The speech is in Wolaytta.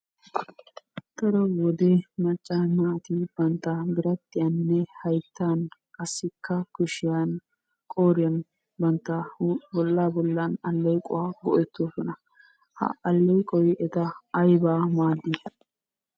Daro wode macca naati bantta biradhdhiyan, hayttan, qassikka kushiyan, qooriyan, bantta huuphiya bollaa bollan allequwawu go'ettoosona. Ha alleeqoy eta ayibaa maaddi?